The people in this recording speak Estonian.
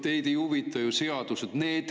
Teid ei huvita ju seadused!